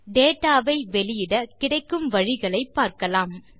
data ஐ வெளியிட கிடைக்கும் வழிகளை பார்க்கலாம்